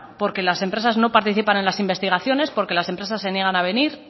porque las empresas no participan en las investigaciones porque las empresas se niegan a venir